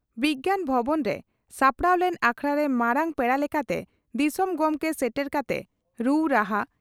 ᱵᱤᱜᱭᱟᱱ ᱵᱷᱚᱵᱚᱱ ᱨᱮ ᱥᱟᱯᱲᱟᱣ ᱞᱮᱱ ᱟᱠᱷᱲᱟᱨᱮ ᱢᱟᱨᱟᱝ ᱯᱮᱲᱟ ᱞᱮᱠᱟᱛᱮ ᱫᱤᱥᱚᱢ ᱜᱚᱢᱠᱮ ᱥᱮᱴᱮᱨ ᱠᱟᱛᱮ ᱨᱩ ᱨᱟᱦᱟ